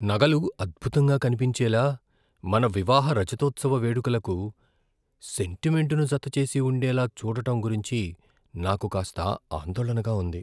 నగలు అద్భుతంగా కనిపించేలా, మన వివాహ రజతోత్సవ వేడుకలకు సెంటిమెంటును జతచేసి ఉండేలా చూడటం గురించి నాకు కాస్త ఆందోళనగా ఉంది.